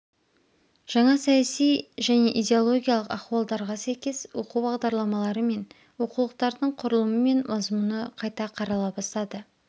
жаңа саяси және идеологиялық ахуалдарға сәйкес оқу бағдарламалары мен оқулықтардың құрылымы мен мазмұны қайта қарала бастады